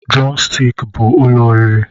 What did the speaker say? Drọmstik bụ ụlọ oriri